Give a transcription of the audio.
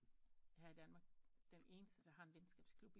Her i Danmark der har en venskabsklub